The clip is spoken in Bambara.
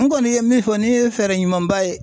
N kɔni ye min fɔ nin ye fɛɛrɛ ɲumanba ye.